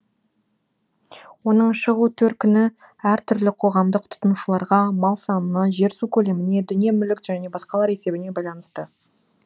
оның шығу төркіні әр түрлі қоғамдық тұтынушыларға мал санына жер су көлеміне дүние мүлік және басқалар есебіне байланысты